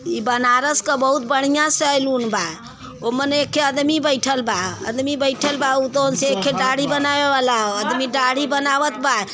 इ बनारस क बहुत बड़ियाँ सैलून बा ओमन एके अदमी बईठल बा। अदमी बईठल बा उ एखे दाढ़ी बानवे वाला ह। अदमी दाढ़ी बनावत बा।